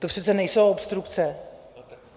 To přece nejsou obstrukce.